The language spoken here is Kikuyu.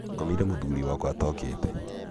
ngomire mũthuriwakwa atookĩte